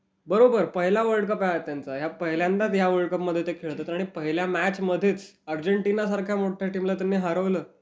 बरोबर. पहिला world cup आहे हा त्यांचा. या पहिल्यांदाच ते या वर्ल्ड कपमध्ये खेळतायत आणि पहिल्या मॅचमध्येच अर्जेंटिनासारख्या मोठ्या टीमला त्यांनी हरवलं